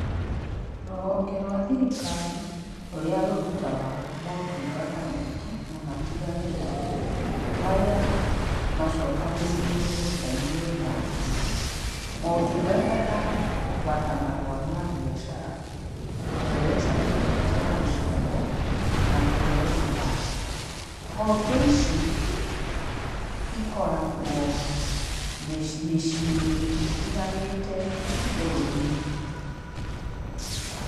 Rũhonge rwa thirikari, rũrĩa rũrutaga motungata maingĩ na matiganĩte, maria, macokanĩrĩirio nyũmba ĩmwe, motungata ta, kũgata marũa mbĩacara, kũheyo certificate ya gũciarwo, na kũheyo kĩbandĩ. Honge ici, cikoragwo mĩci mĩciĩ ĩtiganĩte bũrũri-inĩ.